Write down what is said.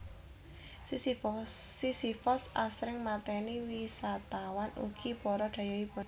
Sisifos asring mateni wisatawan ugi para dhayohipun